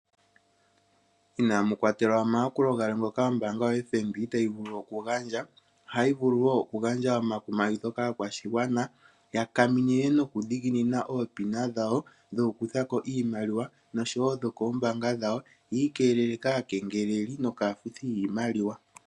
Inaamukwatelwa omayakulo galwe ombaanga yo FNB tayi vulu oku gandja ohayi vulu wo oku gandja omakumagidho kaakwashigwana ya kaminine noku dhiginina oopina dhayo dhoku kuthako iimaliwa noshowo dho koombaanga dhayo yi ikeelele kaakengeleli nokaafuthi yiimaliwa.